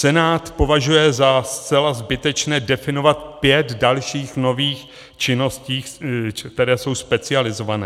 Senát považuje za zcela zbytečné definovat pět dalších nových činností, které jsou specializované.